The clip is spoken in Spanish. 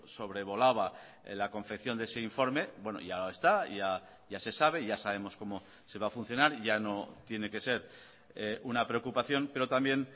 sobrevolaba la confección de ese informe bueno ya está ya se sabe ya sabemos cómo se va a funcionar ya no tiene que ser una preocupación pero también